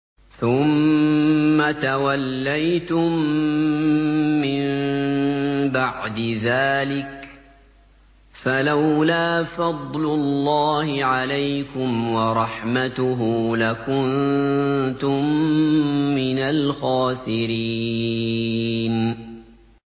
ثُمَّ تَوَلَّيْتُم مِّن بَعْدِ ذَٰلِكَ ۖ فَلَوْلَا فَضْلُ اللَّهِ عَلَيْكُمْ وَرَحْمَتُهُ لَكُنتُم مِّنَ الْخَاسِرِينَ